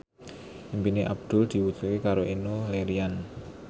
impine Abdul diwujudke karo Enno Lerian